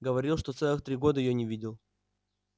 говорил что целых три года её не видел